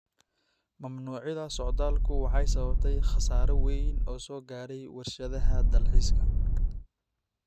Mamnuucida socdaalku waxay sababtay khasaare wayn oo soo gaadhay warshadaha dalxiiska